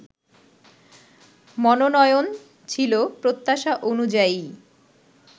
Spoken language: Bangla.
মনোনয়ন ছিল প্রত্যাশা অনুযায়ীই